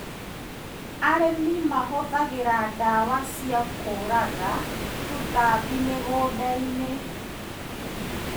Arĩmi mahũthagĩra ndawa cia kũuraga tũtambi mĩgũndainĩ.